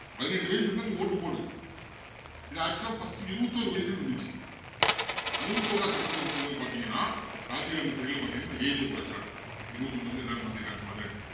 பதினெட்டு வயசு இருந்தா நீ vote போடு இது actual ஆ first உ இருபத்தி ஒரு வயசுன்னு இருந்திச்சு அறுபத்து ஓராவது சட்டத் திருத்தத்துல பாத்திங்கன்னா ராஜீவ்காந்தி period ல பாத்திங்கன்னா இந்த age அ குறைச்சாங்க இருபத்தி ஒண்ணுல இருந்து இதா மாத்திருக்காங்க பதினெட்டு